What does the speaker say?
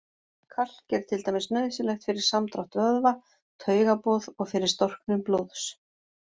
Kalk er til dæmis nauðsynlegt fyrir samdrátt vöðva, taugaboð og fyrir storknun blóðs.